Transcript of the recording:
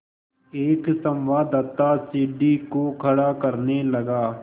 एक संवाददाता सीढ़ी को खड़ा करने लगा